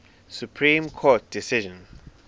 supreme court decision